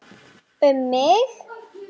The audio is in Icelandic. Um mig?